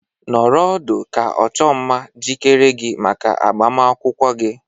Nọrọ ọdụ ka ọchụmma jikere gị maka agbamakwụkwọ gị!